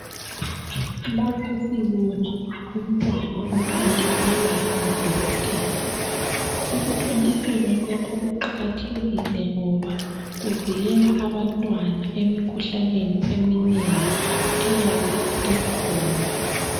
Umntwana uyathontiselwa ngodokotela. Ukuthontiselwa lokhu kuqakathekile ngoba kuvikela abantwana emikhuhlaneni eminengi eyabe ikhona.